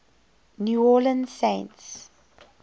new orleans saints